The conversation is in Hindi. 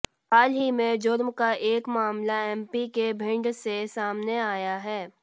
हाल ही में जुर्म का एक मामला एमपी के भिंड से सामने आया है